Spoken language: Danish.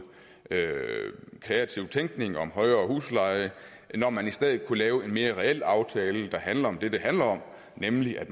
kreativ tænkning om højere husleje når man i stedet kunne lave en mere reel aftale der handler om det det handler om nemlig at